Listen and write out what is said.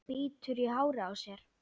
Bítur í hárið á sér.